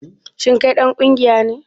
Shin kai dan kungiya ne?